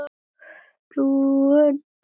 Þú ert glúrin, Bogga mín.